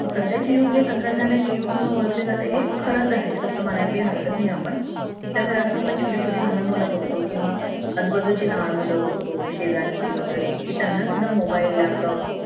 सध्याचे युग हे तंत्रज्ञानाचे युग म्हणून ओळखले जाते हे खरंच आहे अस म्हणायला काही हरकत नाही आपण, आमच्या घरात पण छोटे छोटे लहान मुलं बघतो किंवा आजू बाजू चे लहान मुले बघतो, शेजारची वगैरे कि त्यांना सुद्धा mobile laptop